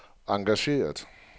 engageret